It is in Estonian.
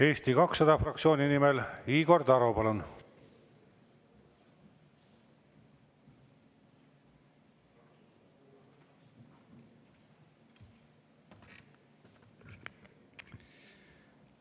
Eesti 200 fraktsiooni nimel Igor Taro, palun!